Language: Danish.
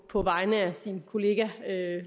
på vegne af sin kollega